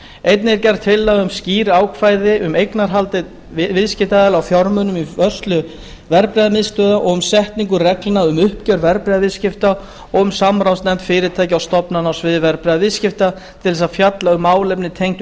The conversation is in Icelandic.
einnig er gerð tillaga um skýr ákvæði um eignarhald viðskiptaaðila á fjármunum í vörslu verðbréfamiðstöðva og um setningu reglna um uppgjör verðbréfaviðskipta og um samráðsnefnd fyrirtækja og stofnana á sviði verðbréfaviðskipta til þess að fjalla um málefni tengd